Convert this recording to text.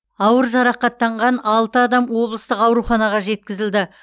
ауыр жарақаттанған алты адам облыстық ауруханаға жеткізілді